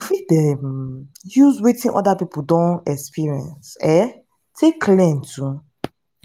you fit um use wetin oda pipo don experience um take learn too